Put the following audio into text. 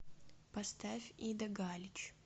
поставь ида галич